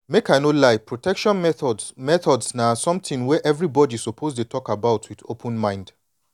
make i no lie protection methods methods na something wey everybody suppose dey talk about with open mind